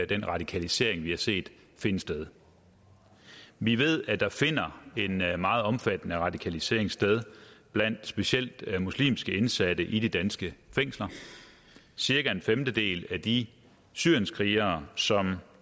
den radikalisering vi har set finde sted vi ved at der finder en meget omfattende radikalisering sted blandt specielt muslimske indsatte i de danske fængsler cirka en femtedel at de syrienskrigere som